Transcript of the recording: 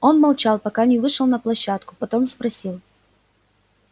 он молчал пока не вышел на площадку потом спросил